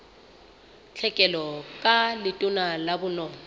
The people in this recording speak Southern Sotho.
tlhekelo ka letona la bonono